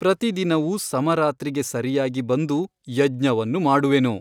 ಪ್ರತಿದಿನವೂ ಸಮರಾತ್ರಿಗೆ ಸರಿಯಾಗಿ ಒಂದು ಯಜ್ಞವನ್ನು ಮಾಡುವೆನು.